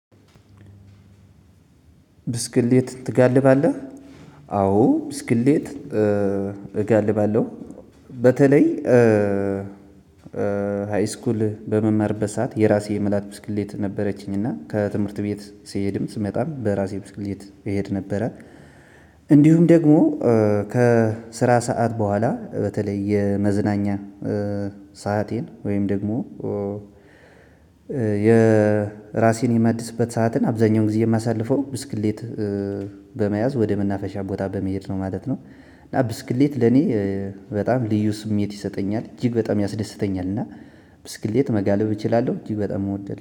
ብስክሌት ትጋልባለህ? አዎ ብስክሌት እጋልባለሁ። በተለይ ሃይስኩል በመመርበት ሰዓት የራሴ የምላት ብስክሌት ነበረችኝ እና ከትምህርት ቤት ስሄድም ስመጣም በራሴ ብስክሌት እሄድ ነበረች። እንዲሁም ደግሞ ከስራ ሰዓት በኋላ በተለይ የመዝናኛ ሰአቴን ወይም ደግሞ የራሴን የመደሰበት ሰዓትን አብዛኛውን ጊዜ የማሳልፈው ብስክሌት በመያዝ ወደ ምናፈሻ ቦታ በመሄድ ነው ማለት ነው። እና ብስክሌት ለኔ በጣም ልዩ ስሜት ይሰጠኛል እጅግ በጣም ያስደስተኛል። እና ብስክሌት መጋለብ እችላለሁ እጅግ በጣም እወድል